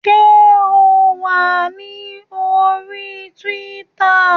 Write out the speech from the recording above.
Ṣé o wà ní orí Tíwítà?